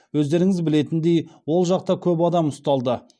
өздеріңіз білетіндей ол жақта көп адам ұсталды